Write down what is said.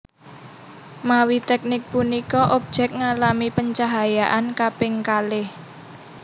Mawi teknik punika objek ngalami pencahayaan kaping kalih